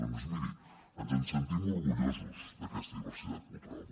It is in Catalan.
doncs miri ens en sentim orgullosos d’aquesta diversitat cultural